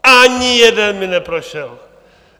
Ani jeden mi neprošel!